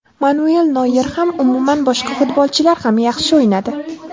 Manuel Noyer ham, umuman boshqa futbolchilar ham yaxshi o‘ynadi.